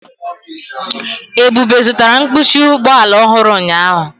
Ebube zụtara mkpuchi ụgbọ ala ọhụrụ ụnyahụ.